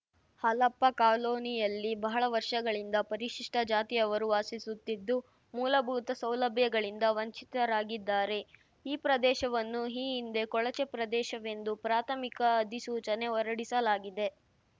ಹಾಲಪ್ಪ ಕಾಲೋನಿಯಲ್ಲಿ ಬಹಳ ವರ್ಷಗಳಿಂದ ಪರಿಶಿಷ್ಟಜಾತಿಯವರು ವಾಸಿಸುತ್ತಿದ್ದು ಮೂಲಭೂತ ಸೌಲಭ್ಯಗಳಿಂದ ವಂಚಿತರಾಗಿದ್ದಾರೆ ಈ ಪ್ರದೇಶವನ್ನು ಈ ಹಿಂದೆ ಕೊಳಚೆ ಪ್ರದೇಶವೆಂದು ಪ್ರಾಥಮಿಕ ಅಧಿಸೂಚನೆ ಹೊರಡಿಸಲಾಗಿದೆ